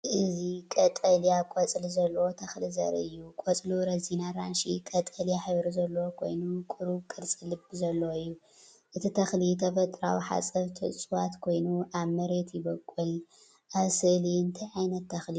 እዚ ቀጠልያ ቆጽሊ ዘለዎ ተኽሊ ዘርኢ እዩ። ቆጽሉ ረዚን ኣራንሺ-ቀጠልያ ሕብሪ ዘለዎ ኮይኑ ቁሩብ ቅርጺ ልቢ ዘለዎ እዩ። እቲ ተኽሊ ተፈጥሮኣዊ ሓጸብቲ ዕጸዋት ኮይኑ ኣብ መሬት ይበቁል። ኣብ ስእሊ እንታይ ዓይነት ተኽሊ እዩ ዝርአ ዘሎ?